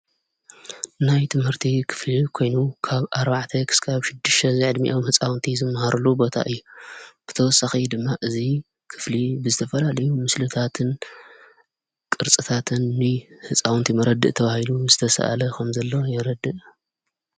ናይ ትምህርቲ ኽፍሊ ኮይኑ ካብ ኣርባዕተ ኽስካብ ሽድሽተ ዘዕድሚያም ሕፃውንቲ ዘመሃሩሉ ቦታ እየ ብተወሳኺ ድማ እዙይ ክፍሊ ብዝተፈላልዩ ምስልታትን ቕርጽታትን ሕፃውንቲ መረዲ እተዉሂሉ ዝተሰአለ ኸም ዘሎ የረድእ።